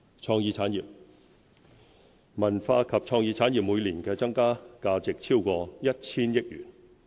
創意產業文化及創意產業每年的增加價值超過 1,000 億元。